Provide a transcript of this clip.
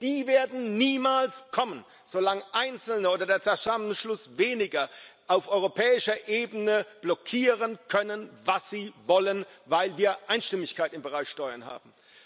Und die werden niemals kommen, solange Einzelne oder der Zusammenschluss Weniger auf europäischer Ebene blockieren können, was sie wollen, weil wir Einstimmigkeit im Bereich Steuern haben.